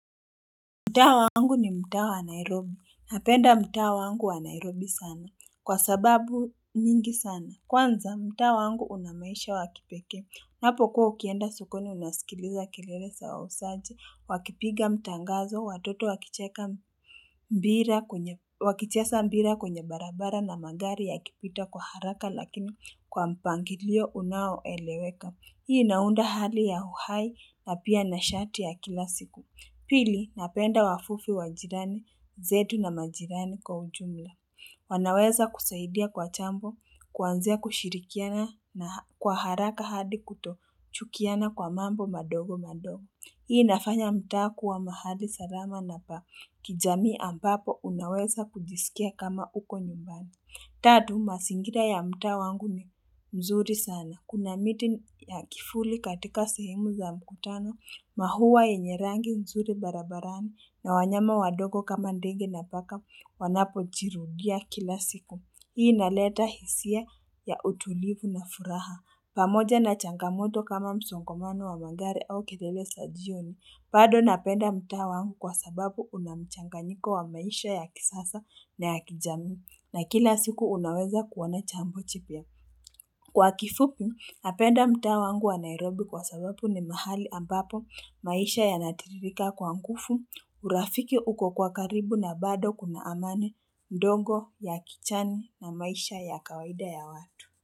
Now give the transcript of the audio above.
Mtaa wangu ni mtaa wa Nairobi. Napenda mtao wangu wa Nairobi sana. Kwa sababu nyingi sana. Kwanza mtaa wangu unamaisha wa kipekee. Unapo kuwa ukienda sokoni unasikiliza kelele za wauzaji. Wakipiga mtaangazo. Watoto wakicheka wakichesa mpira kwenye barabara na magari ya kipita kwa haraka lakini kwa mpangilio unaoeleweka. Hii inaunda hali ya uhai na pia na shati ya kila siku. Pili, napenda wafufi wajirani, zetu na majirani kwa ujumla. Wanaweza kusaidia kwa chambo, kwanzia kushirikiana na kwa haraka hadi kuto chukiana kwa mambo madogo madogo. Hii inafanya mtaa kuwa mahali salama na pa kijamii ambapo unaweza kujisikia kama uko nyumbani. Tatu, masingira ya mtaa wangu ni mzuri sana. Kuna miti ya kifuli katika sahemu za mkutano, mahuwa yenye rangi nzuri barabarani na wanyama wadogo kama ndenge na paka wanapo jirudia kila siku. Hii inaleta hisia ya utulivu na furaha. Pamoja na changamoto kama msongamano wa magari au kelele za jioni. Bado napenda mtaa wangu kwa sababu unamchanganyiko wa maisha ya kisasa na ya kijamii na kila siku unaweza kuona chambo chipya. Kwa kifupi, napenda mtaa wangu wa Nairobi kwa sababu ni mahali ambapo maisha yanatiririka kwa nkufu, urafiki uko kwa karibu na bado kuna amani ndongo ya kichani na maisha ya kawaida ya watu.